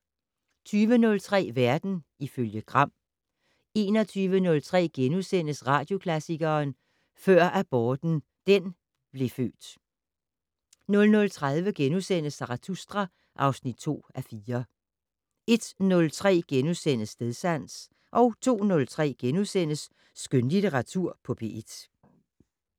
20:03: Verden ifølge Gram 21:03: Radioklassikeren: Før aborten den blev født * 00:30: Zarathustra (2:4)* 01:03: Stedsans * 02:03: Skønlitteratur på P1 *